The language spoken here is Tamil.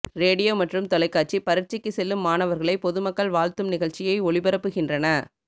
ரேடியோ மற்றும் தொலைக்காட்சி பரிட்சைக்கு செல்லும் மாணவர்களை பொதுமக்கள் வாழ்த்தும் நிகழ்ச்சியை ஒளிபரப்புகின்றன